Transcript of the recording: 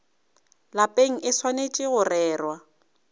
lapeng e swanetše go rerwa